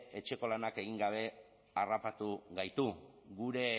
etxeko lanak egin gabe harrapatu gaitu gure